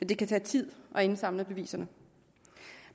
det kan tage tid at indsamle beviserne